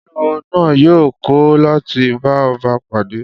Olúwo náà yóò kọ̀ láti bá ọba pàdé